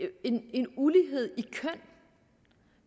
en ulighed